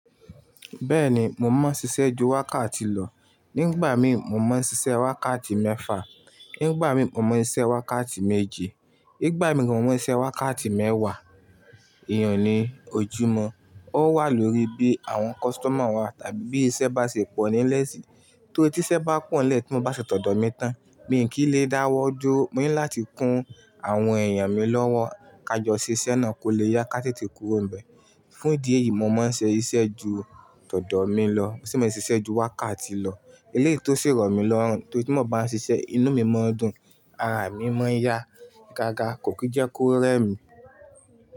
Bẹ́ẹ̀ni, mo mọ ṣíṣe ju wákàtí lọ. Nígbà mí mo mọ n sisẹ́ wákàtí mẹ́fà, nígbà mí mo mọ n isẹ́ wákàtí méje, nígbà mí mo mọ n iṣẹ́ wákàtí mẹ́wàá. Èèyàn ní ojúmọ́, ó wà lórí bí àwọn customer wa tàbí bí iṣẹ́ bá ṣe pọ̀ nílẹ̀ síi. Tó i tí isẹ́ bá pọ̀ n lẹ̀ tí mo bá ṣetọ́dọ̀ mi tán, bí n kí n lè dáwọ́ duó. Mo ní láti kún àwọn èèyàn mi lọ́wọ́, ká jọ ṣiṣẹ́ náà kó lè yá ká tètè kúrò n bẹ̀. Fún ìdí èyí, mo mọ n se iṣẹ́ ju tọdọ mi lọ. Sì mọ ẹ ṣiṣẹ́ ju wákàtí lọ. Eleyi tó si rọ̀ mi lọ́rùn, tó i ti mó bá ń ṣiṣẹ́ yi, inú mi mọ ń dùn, ara mi mọ ń yá gágá, kò kí n jẹ́ kó rẹ́ mi.